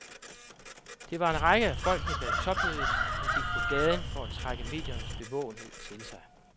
Det var en række af folkene bag topmødet, som gik på gaden for at trække mediernes bevågenhed til sig.